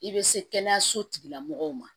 I bɛ se kɛnɛyaso tigilamɔgɔw ma